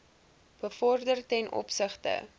bevorder ten opsigte